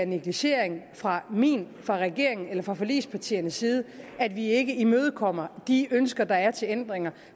negligering fra min fra regeringens eller fra forligspartiernes side at vi ikke imødekommer de ønsker der er til ændringer